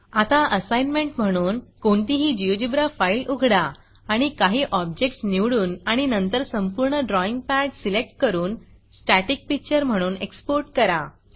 आता असाईनमेंट म्हणून - कोणतीही GeoGebraजियोजीब्रा फाईल उघडा आणि काही objectsऑब्जेक्ट्स निवडून आणि नंतर संपूर्ण ड्रॉईंग पॅड सिलेक्ट करून स्टॅटिक pictureस्टॅटिक पिक्चर म्हणून exportएक्सपोर्ट करा